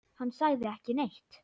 Hann sagði ekki neitt.